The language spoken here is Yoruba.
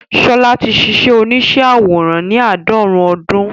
Ṣọlá ti ṣíṣe oníṣẹ́ àwòrán ní àádọ́rùn-ún ọdún